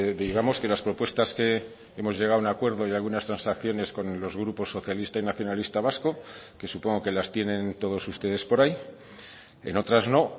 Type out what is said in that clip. digamos que las propuestas que hemos llegado a un acuerdo y algunas transacciones con los grupos socialista y nacionalista vasco que supongo que las tienen todos ustedes por ahí en otras no